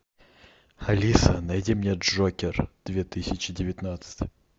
алиса найди мне джокер две тысячи девятнадцать